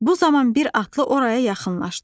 Bu zaman bir atlı oraya yaxınlaşdı.